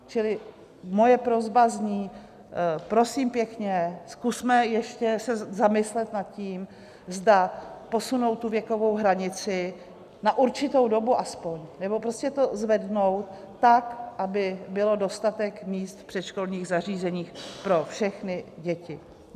Čili moje prosba zní: Prosím pěkně, zkusme ještě se zamyslet nad tím, zda posunout tu věkovou hranici, na určitou dobu aspoň, nebo prostě to zvednout tak, aby bylo dostatek míst v předškolních zařízeních pro všechny děti.